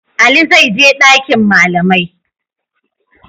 Ali zai je ɗakin malamai.